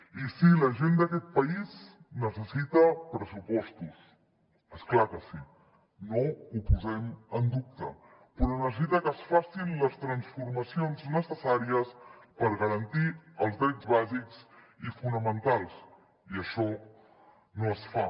i sí la gent d’aquest país necessita pressupostos és clar que sí no ho posem en dubte però necessita que es facin les transformacions necessàries per garantir els drets bàsics i fonamentals i això no es fa